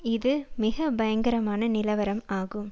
இது மிக பயங்கரமான நிலவரம் ஆகும்